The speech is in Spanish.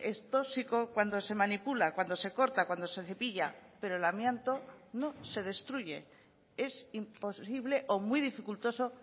es tóxico cuando se manipula cuando se corta cuando se cepilla pero el amianto no se destruye es imposible o muy dificultoso